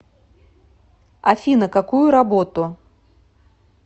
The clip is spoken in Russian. афина какую работу